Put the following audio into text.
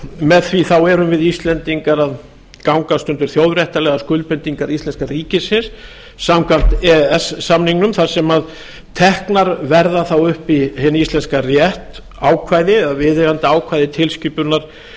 með því þá erum við íslendingar að gangast undir þjóðréttarlegar skuldbindingar íslenska ríkisins samkvæmt e e s samningnum þar sem teknar verða þá upp í hinn íslenska rétt ákvæði eða viðeigandi ákvæði tilskipunar